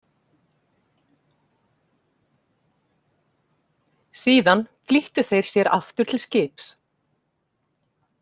Síðan flýttu þeir sér aftur til skips.